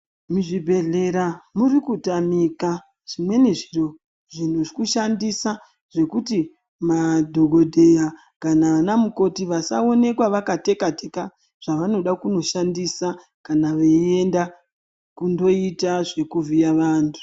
Muzvibhedhlera muri kutamika zvimweni zviro zvekushandisa zvekuti madhokodheya kana ana mukoti vasaonekwa vakateka teka zvavanoda kunoshandisa kana veienda kundoita zvekuvhiya vantu.